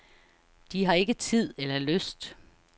De har ikke tid eller lyst.